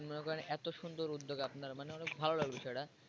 মনে করে এত সুন্দর উদ্যোগ আপনারা মানে অনেক ভাল লাগল বিষয়টা।